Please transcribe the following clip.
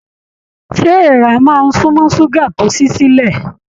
Ṣé èèrà máa n sunmọ ṣuga tó sì silẹ?